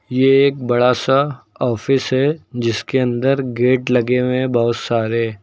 ये एक बड़ा सा ऑफिस है जिसके अंदर गेट लगे हुए बहोत सारे।